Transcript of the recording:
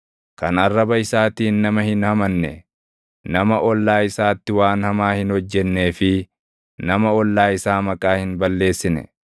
kan arraba isaatiin nama hin hamanne, nama ollaa isaatti waan hamaa hin hojjennee fi nama ollaa isaa maqaa hin balleessine,